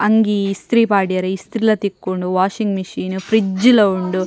ಅಂಗಿ ಇಸ್ತ್ರಿ ಪಾಡ್ಯರೆ ಇಸ್ತ್ರಿಲ ತಿಕ್ಕುಂಡು ವಾಷಿಂಗ್ ಮೆಶೀನ್ ಫ್ರಿಡ್ಜ್ ಲ ಉಂಡು.